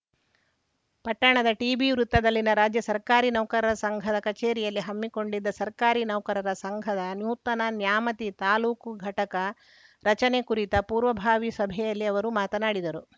ಪಟ್ಟಣದ ಟಿಬಿ ವೃತ್ತದಲ್ಲಿನ ರಾಜ್ಯ ಸರ್ಕಾರಿ ನೌಕರರ ಸಂಘದ ಕಚೇರಿಯಲ್ಲಿ ಹಮ್ಮಿಕೊಂಡಿದ್ದ ಸರ್ಕಾರಿ ನೌಕರರ ಸಂಘದ ನೂತನ ನ್ಯಾಮತಿ ತಾಲೂಕು ಘಟಕ ರಚನೆ ಕುರಿತ ಪೂರ್ವಭಾವಿ ಸಭೆಯಲ್ಲಿ ಅವರು ಮಾತನಾಡಿದರು